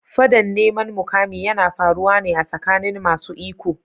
Fadan neman mukami yana faruwa ne a tsakanin masu iko.